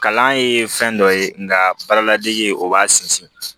Kalan ye fɛn dɔ ye nka baara ladege o b'a sinsin